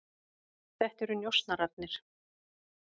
Þetta eru njósnararnir.